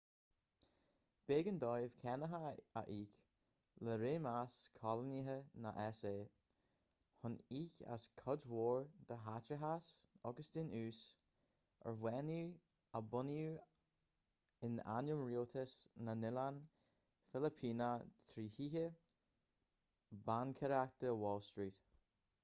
b'éigean dóibh cánacha a íoc le réimeas coilíneach na s.a. chun íoc as cuid mhór den chaiteachas agus den ús ar bhannaí a bunaíodh in ainm rialtas na noileán filipíneach trí thithe baincéireachta wall street